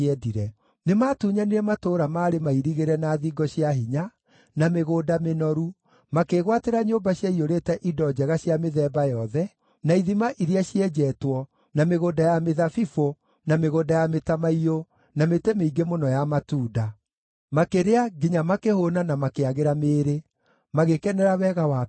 Nĩmatunyanire matũũra maarĩ mairigĩre na thingo cia hinya, na mĩgũnda mĩnoru, makĩĩgwatĩra nyũmba ciaiyũrĩte indo njega cia mĩthemba yothe, na ithima iria cienjetwo, na mĩgũnda ya mĩthabibũ, na mĩgũnda ya mĩtamaiyũ, na mĩtĩ mĩingĩ mũno ya matunda. Makĩrĩa, nginya makĩhũũna na makĩagĩra mĩĩrĩ; magĩkenera wega waku mũingĩ.